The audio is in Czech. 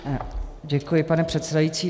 Děkuji, pane předsedající.